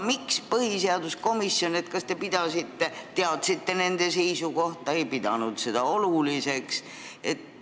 Kas põhiseaduskomisjon teab nende seisukohta ja ei pidanud seda oluliseks?